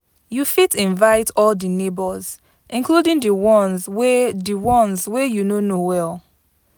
You fit invite all di neighbors, including di ones wey di ones wey you no know well.